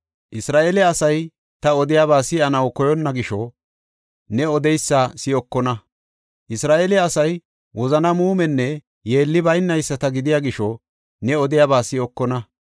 Isra7eele asay ta odiyaba si7anaw koyonna gisho, ne odeysa si7okona. Isra7eele asay wozana muumenne yeelli baynayisata gidiya gisho ne odiyaba si7okona.